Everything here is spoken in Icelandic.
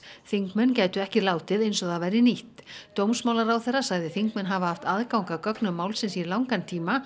þingmenn gætu ekki látið eins og það væri nýtt dómsmálaráðherra sagði þingmenn hafa haft aðgang að gögnum málsins í langan tíma